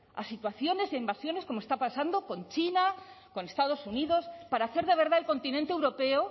a situaciones de invasiones como está pasando con china con estados unidos para hacer de verdad el continente europeo